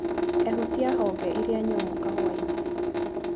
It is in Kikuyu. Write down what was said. Ehutia honge iria nyũmũ kahũainĩ.